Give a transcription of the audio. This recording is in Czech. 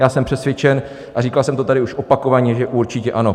Já jsem přesvědčen a říkal jsem to tady už opakovaně, že určitě ano.